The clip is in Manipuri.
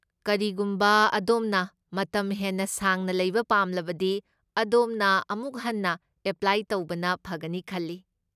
ꯀꯔꯤꯒꯨꯝꯕ ꯑꯗꯣꯝꯅ ꯃꯇꯝ ꯍꯦꯟꯅ ꯁꯥꯡꯅ ꯂꯩꯕ ꯄꯥꯝꯂꯕꯗꯤ, ꯑꯗꯣꯝꯅ ꯑꯃꯨꯛ ꯍꯟꯅ ꯑꯦꯄ꯭ꯂꯥꯏ ꯇꯧꯕꯅ ꯐꯒꯅꯤ ꯈꯜꯂꯤ꯫